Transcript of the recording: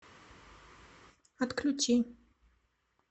отключи